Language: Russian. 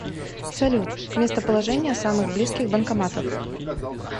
салют местоположение самых близких банкоматов